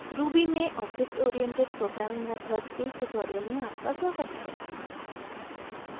ruby में object oriented programming – methods के इस ट्यूटोरियल में आपका स्वागत है